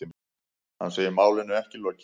Hann segir málinu ekki lokið.